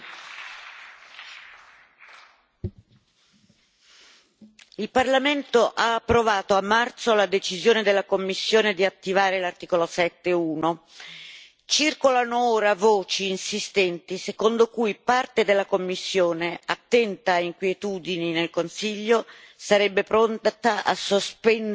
Signor Presidente, onorevoli colleghi, il Parlamento ha approvato a marzo la decisione della Commissione di attivare l'articolo 7, paragrafo 1. Circolano ora voci insistenti secondo cui parte della Commissione, attenta a inquietudini nel Consiglio, sarebbe pronta a sospendere la decisione.